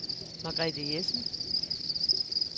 Margrethe Jessen